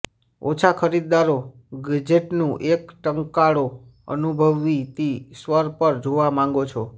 ઓછા ખરીદદારો ગેજેટનું એક કંટાળો અનુભવતી સ્વર પર જોવા માંગો છો